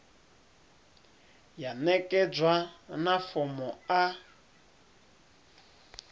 ya ṋekedzwa na fomo a